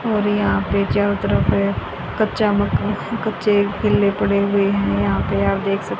और यहां पे चारों तरफ कच्चा मकान कच्चे केले पड़े हुए हैं यहां पर आप देख सकते।